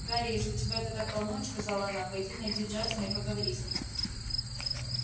гарри если тебя это так волнует сказала она пойди найди джастина и поговори с ним